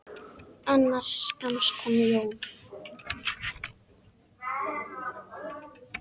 Innan skamms kom John.